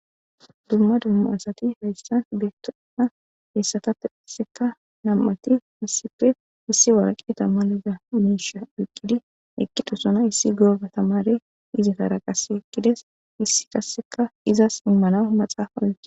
dumma dumma asati heyssan beettoenna hessatappe isseka nam7ati issipfe issi waraqe ta maliza miisha wiqqidi eqqidusona issi gooba tamare izi taraqas ekqides issi tasseka izas immana maxaafa oqi